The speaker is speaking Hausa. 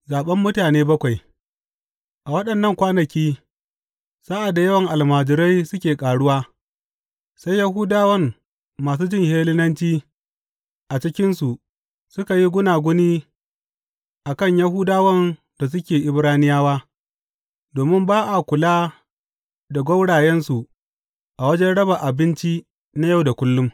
Zaɓen mutane bakwai A waɗannan kwanaki, sa’ad da yawan almajirai suke ƙaruwa, sai Yahudawan masu jin Hellenanci a cikinsu suka yi gunaguni a kan Yahudawan da suke Ibraniyawa domin ba a kula da gwaurayensu a wajen raba abinci na yau da kullum.